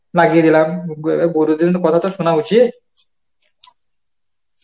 লাগিয়ে দিলাম অ্যাঁ গুরুজনের কথা তো শোনা উচিত